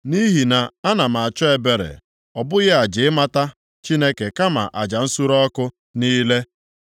Nʼihi na ana m achọ ebere, ọ bụghị aja, ịmata Chineke kama aja nsure ọkụ niile.